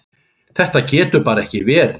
Þetta getur bara ekki verið.